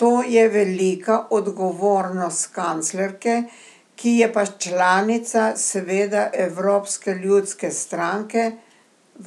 To je velika odgovornost kanclerke, ki je pa članica seveda evropske ljudske stranke,